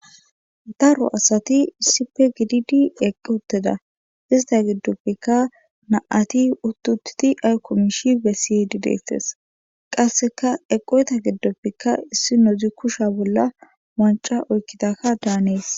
Daro asati issipe gididi eqqi utteda ista giddoppikka na'ati uttutiti ay komishi bessiydi deettes qasseka eqoyta giddopfikka issi nodzi kusha bolla wanca oykkitaka daanees.